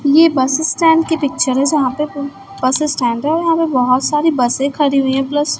ये bus stand की picture है जहां पे बस स्टैंड है और यहां पे बोहोत सारी बसे खड़ी हुई है प्लस --